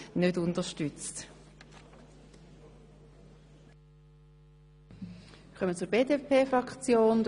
Ich wünsche dir und deiner Familie weiterhin alles Gute, privat und natürlich auch beruflich.